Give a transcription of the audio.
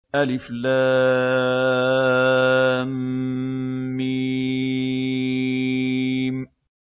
الم